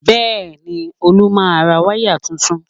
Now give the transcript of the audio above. Bẹ́ẹ̀ni, Olú máa ra wáyà tuntun